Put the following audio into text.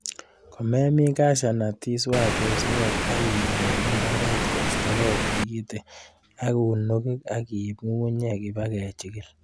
Komemin cahew nut, iswach osnet ak ilul imbar kostogei tigikit ak unugik ak iib ng'ung'unkek iba kechikil